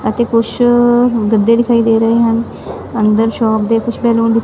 ਅਤੇ ਕੁਛ ਗੱਦੇ ਦਿਖਾਈ ਦੇ ਰਹੇ ਹਨ ਅੰਦਰ ਸ਼ੋਪ ਦੇ ਕੁਝ ਪੀਲੌਂਸ ।